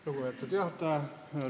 Lugupeetud juhataja!